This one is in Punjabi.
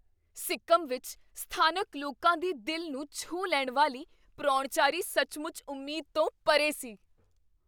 ਸਿੱਕਮ ਵਿੱਚ ਸਥਾਨਕ ਲੋਕਾਂ ਦੀ ਦਿਲ ਨੂੰ ਛੂਹ ਲੈਣ ਵਾਲੀ ਪਰਾਹੁਣਚਾਰੀ ਸੱਚਮੁੱਚ ਉਮੀਦ ਤੋਂ ਪਰੇ ਸੀ।